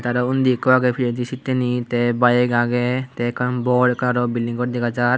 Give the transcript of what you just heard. te araw undi ekko agey pijedi sitteni te bige agey te ekkan bor ekkan araw bilding gor dega jar.